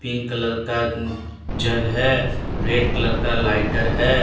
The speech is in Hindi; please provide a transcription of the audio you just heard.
न कलर का जग है रेड कलर का लाइटर है।